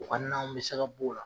O ka nanw be se ka b'o la